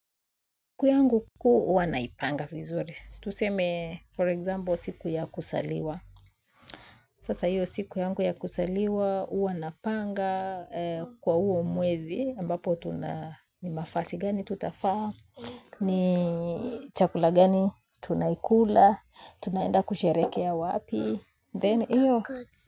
Siku yangu kuu huwa naipanga vizuri. Tuseme, for example, siku ya kuzaliwa. Sasa hiyo siku yangu ya kuzaliwa, hua napanga kwa huo mwezi. Ambapo tuna mavasi gani tutavaa. Ni chakula gani, tunaikula. Tunaenda kusherekea wapi. Then, hiyo.